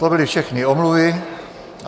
To byly všechny omluvy.